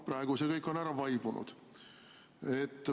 Praegu on see kõik ära vaibunud.